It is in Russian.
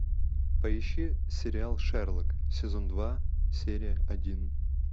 поищи сериал шерлок сезон два серия один